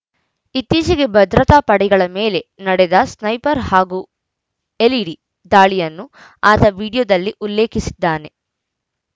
ಇತ್ತೀಚೆಗೆ ಭದ್ರತಾ ಪಡೆಗಳ ಮೇಲೆ ನಡೆದ ಸ್ನೈಪರ್‌ ಹಾಗೂ ಎಲ್‌ಇಡಿ ದಾಳಿಯನ್ನು ಆತ ವಿಡಿಯೋದಲ್ಲಿ ಉಲ್ಲೇಖಿಸಿದ್ದಾನೆ